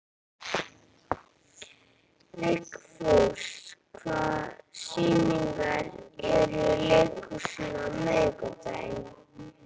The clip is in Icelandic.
Vigfús, hvaða sýningar eru í leikhúsinu á miðvikudaginn?